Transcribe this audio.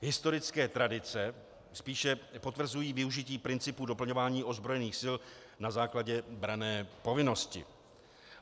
Historické tradice spíše potvrzují využití principu doplňování ozbrojených sil na základě branné povinnosti.